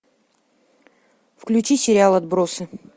включи сериал отбросы